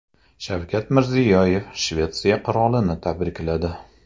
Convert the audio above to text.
Shavkat Mirziyoyev Shvetsiya qirolini tabrikladi.